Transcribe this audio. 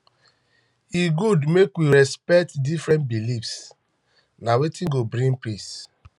e good make we respect um different beliefs na wetin go bring peace